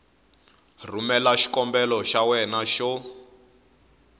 rhumela xikombelo xa wena xo